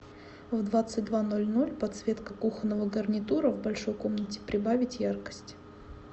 в двадцать два ноль ноль подсветка кухонного гарнитура в большой комнате прибавить яркость